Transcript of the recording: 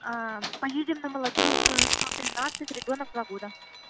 поедем на молодёжную сто тринадцать ребёнок два года